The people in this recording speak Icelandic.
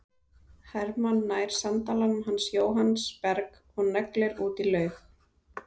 Hermann nær sandalanum hans Jóhanns Berg og neglir út í laug.